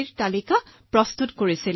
তাৰপিছত আমি ঘৰে ঘৰে গলো